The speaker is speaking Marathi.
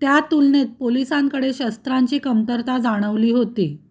त्यातुलनेत पोलीसांकडे शस्त्रांची कमतरता जाणवली होती